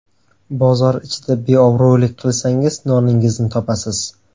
Bozor ichida beobro‘lik qilsangiz, noningizni topasiz.